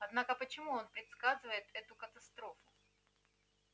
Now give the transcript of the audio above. однако почему он предсказывает эту катастрофу